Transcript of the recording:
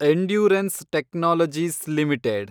endurance technologies limited